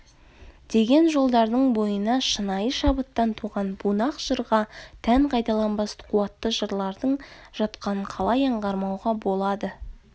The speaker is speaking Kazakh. деген жолдардың бойына шынайы шабыттан туған бунақ жырға тән қайталанбас қуатты жырлардың жатқанын қалай аңғармауға болады